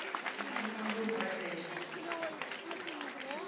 ndi thoma nga u badela